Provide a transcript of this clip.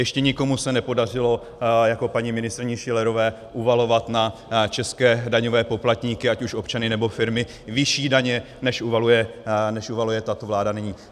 Ještě nikomu se nepodařilo jako paní ministryni Schillerové uvalovat na české daňové poplatníky, ať už občany, nebo firmy, vyšší daně, než uvaluje tato vláda nyní.